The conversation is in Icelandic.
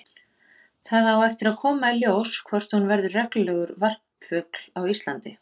Það á eftir að koma í ljós hvort hún verður reglulegur varpfugl á Íslandi.